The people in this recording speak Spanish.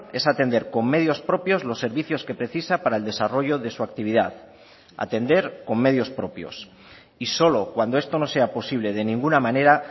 es atender con medios propios los servicios que precisa para el desarrollo de su actividad atender con medios propios y solo cuando esto no sea posible de ninguna manera